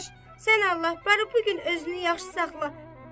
Dadaş, sən Allah barı bu gün özünü yaxşı saxla.